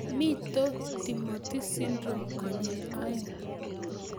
Mito Timothy syndrome konyil aeng'